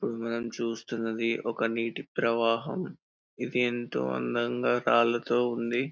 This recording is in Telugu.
ఇప్పుడు మనం చూస్తున్నది ఒక నీటి ప్రవాహం ఇది ఎంతో అందంగా రాళ్ళతో ఉంది.